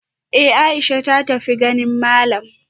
Eh Aisha ta tafi ganin malam